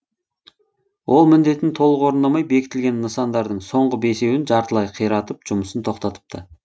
ол міндетін толық орындамай бекітілген нысандардың соңғы бесеуін жартылай қиратып жұмысын тоқтатыпты